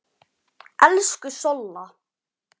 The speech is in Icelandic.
Elsku Solla.